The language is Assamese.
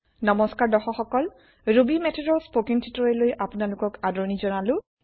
নমস্কাৰ দৰ্শক সকল ৰুবি মেথডৰ স্পোকেন টিটোৰিয়েল লৈ আপোনালোকক আদৰনি জনালো